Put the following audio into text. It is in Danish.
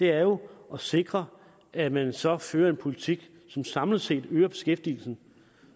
er jo at sikre at man så fører en politik som samlet set øger beskæftigelsen